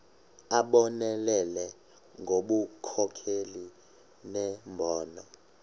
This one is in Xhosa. abonelele ngobunkokheli nembono